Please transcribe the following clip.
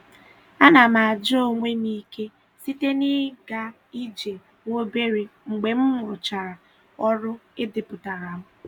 A na m aja onwe m ike site na-ịga ije nwa obere mgbe mụ rụchara ọrụ e depụtara m.